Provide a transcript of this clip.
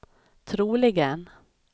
troligen